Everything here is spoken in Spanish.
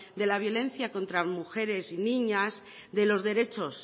de la violencia contra mujeres y niñas de los derechos